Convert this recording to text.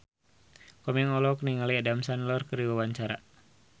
Komeng olohok ningali Adam Sandler keur diwawancara